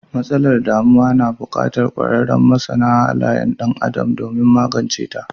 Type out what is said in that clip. Matsalar damuwa na bukatar kwararun masana halayar dan Adam domin maganceta.